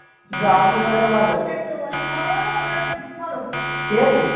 যদি আসে তাহলে ভালো ঠিকাছে?